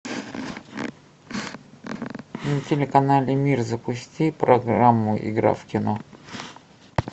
на телеканале мир запусти программу игра в кино